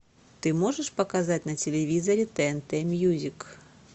ты можешь показать на телевизоре тнт мьюзик